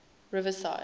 riverside